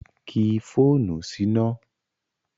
Ki fóònù síná!